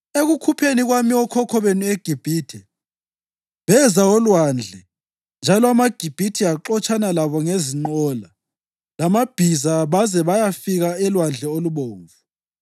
Ekukhupheni kwami okhokho benu eGibhithe, beza olwandle njalo amaGibhithe axotshana labo ngezinqola lamabhiza baze bayafika eLwandle Olubomvu.